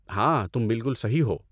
ہاں، تم بالکل صحیح ہو۔